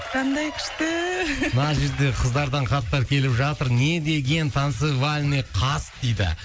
қандай күшті мына жерде қыздардан хаттар келіп жатыр не деген танцевальный қас дейді